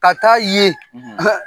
Ka taa ye